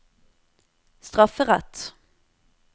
strafferett